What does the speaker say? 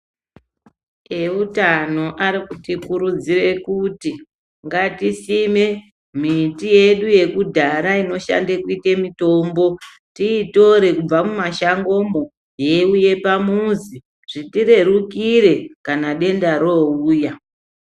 Eutano ari kuti kurudzire kuti ngatisime miti yedu yekudhara inoshande kuite mitombo, tiitore kubva mumashangomwo yeiuye pamuzi zvitirerukira kana denda rauya.